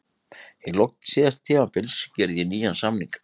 Í lok síðasta tímabils gerði ég nýjan samning.